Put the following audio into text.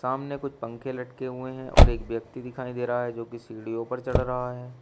सामने कुछ पंखे लटके हुए हैं और एक व्यक्ति दिखाई दे रहा है जो कि सीढ़ियों पर चढ़ रहा है।